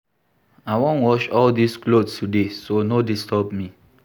I wan wash all dis cloth today so no disturb me